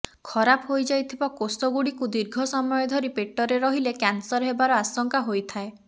ଖରାପ ହୋଇଯାଇଥିବା କୋଷଗୁଡ଼ିକୁ ଦୀର୍ଘ ସମୟ ଧରି ପେଟରେ ରହିଲେ କ୍ୟାନ୍ସର ହେବାର ଆଶଙ୍କା ହୋଇଥାଏ